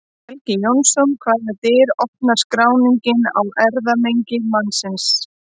Helgi Jónsson Hvaða dyr opnar skráningin á erfðamengi mannsins?